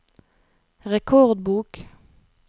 rekordbok